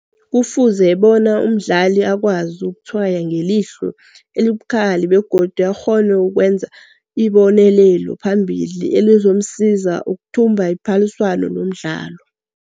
Kufuze bona umdlali akwazi ukuthswaya ngelihlo elibukhali bwegodu akghone nokwenza ibonelelo phambili elizomsiza ukithumba iphaliswano lomdlalo.